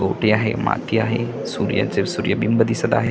ओहोटी आहे माती आहे सूर्याचे सूर्यबिंब दिसत आहे.